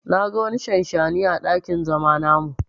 Na ga wani shanshani à dakin zama namu.